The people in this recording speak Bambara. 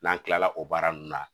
N'an tilala o baara nun na